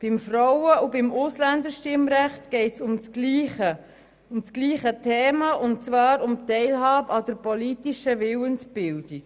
Beim Frauen- und beim Ausländerstimmrecht geht es um dasselbe Thema, nämlich um die Teilhabe an der politischen Willensbildung.